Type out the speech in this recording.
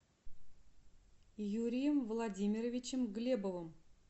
юрием владимировичем глебовым